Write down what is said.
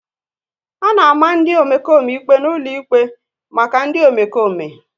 A na-ama ndị Omekome ikpe n'ụlọ ikpe maka ndị Omekome